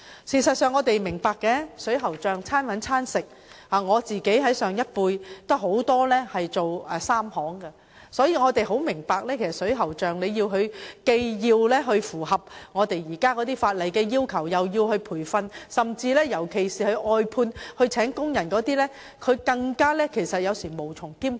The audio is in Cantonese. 事實上，我們也明白水喉匠"手停口停"，我本身也有很多從事這行業的長輩，所以也明白水喉匠如既要符合現行法例的要求，又要接受培訓，這對尤其是聘有工人的外判水喉匠而言，實在是無從兼顧。